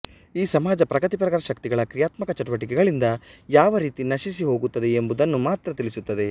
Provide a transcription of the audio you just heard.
ಈ ಸಮಾಜ ಪ್ರಗತಿಪರ ಶಕ್ತಿಗಳ ಕ್ರಿಯಾತ್ಮಕ ಚಟುವಟಿಕೆಗಳಿಂದ ಯಾವ ರೀತಿ ನಶಿಸಿ ಹೋಗುತ್ತದೆ ಎಂಬುದನ್ನು ಮಾತ್ರ ತಿಳಿಸುತ್ತದೆ